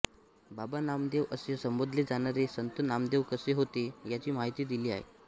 बाबा नामदेव असे संबोधले जाणारे संत नामदेव कसे होते याची माहिती दिली आहे